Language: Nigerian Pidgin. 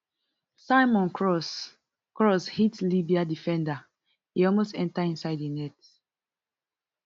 simon cross cross hit libya defender e almost enta inside im net